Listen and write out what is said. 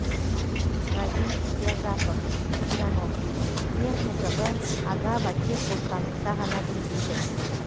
равиль рязапов агроном ең қызығы агава тек бостандықта ғана гүлдейді